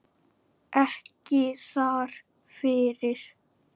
Ekki þar fyrir.